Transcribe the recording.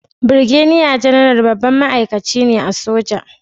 Birgediya Janaral babban ma'aikaci ne a soja